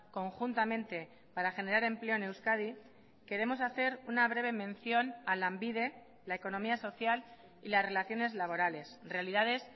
conjuntamente para generar empleo en euskadi queremos hacer una breve mención a lanbide la economía social y las relaciones laborales realidades